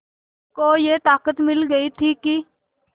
को ये ताक़त मिल गई थी कि